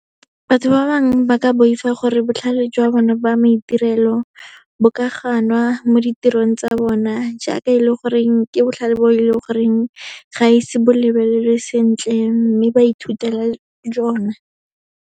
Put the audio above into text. Batho ba bangwe ba ka boifa gore botlhale jwa bone jwa maitirelo bo ka ganwa mo ditirong tsa bona, jaaka e le goreng ke botlhale bo e leng goreng ga e se bo lebelelwe sentle, mme ba ithutela jona.